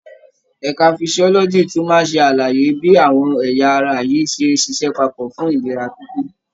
Ẹka physiology tún máa ṣe àlàyé bí àwọn ẹ̀yà ara yìí ṣe ń ṣiṣẹ́ papọ̀ fún ìlera pípé.